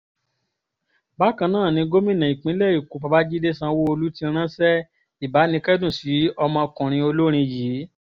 bákan náà ni gómìnà ìpínlẹ̀ èkó babájídé sanwoluu ti ránṣẹ́ ìbánikẹ́dùn sí ọmọkùnrin olórin yìí